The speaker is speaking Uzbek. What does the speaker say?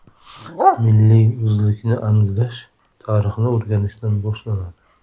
Milliy o‘zlikni anglash tarixni o‘rganishdan boshlanadi.